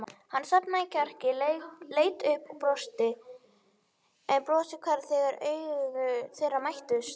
Hann safnaði kjarki, leit upp og brosti en brosið hvarf þegar augu þeirra mættust.